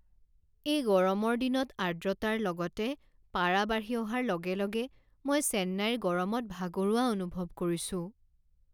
এই গৰমৰ দিনত আৰ্দ্ৰতাৰ লগতে পাৰা বাঢ়ি অহাৰ লগে লগে মই চেন্নাইৰ গৰমত ভাগৰুৱা অনুভৱ কৰিছো।